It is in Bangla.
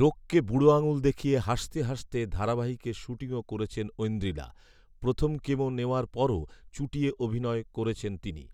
রোগকে বুড়ো আঙুল দেখিয়ে হাসতে হাসতে ধারাবাহিকের শ্যুটিংও করেছেন ঐন্দ্রিলা ৷ প্রথম কেমো নেওয়ার পরও চুটিয়ে অভিনয় করেছেন তিনি৷